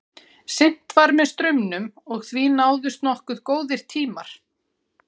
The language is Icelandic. Synt var með straumnum og því náðust nokkuð góðir tímar.